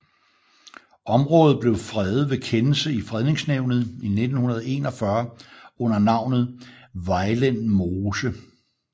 Området blev fredet ved kendelse i Fredningsnævnet i 1941 under navnet Vejlen Mose